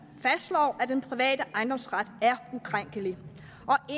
fastslår at den private ejendomsret er ukrænkelig